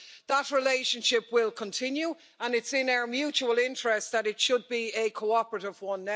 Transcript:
But that relationship will continue, and it is in our mutual interest that it should be a cooperative one.